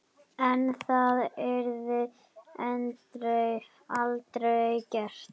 En það yrði aldrei gert.